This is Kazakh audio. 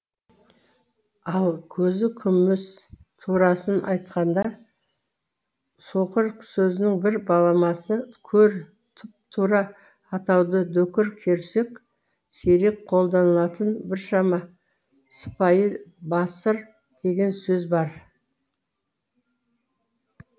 ал көзі кеміс турасын айтқанда соқыр сөзінің бір баламасы көр тұпа тура атауды дөкір көрсек сирек қолданылатын біршама сыпайы басыр деген сөз бар